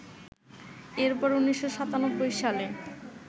এরপর ১৯৯৭ সালে